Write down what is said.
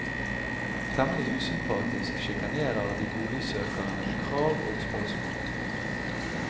Temmelig usympatisk sjikanerer de boligsøkerne med krav og spørsmål.